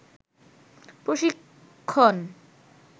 প্রশিক্ষন